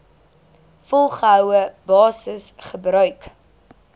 volgehoue basis gebruik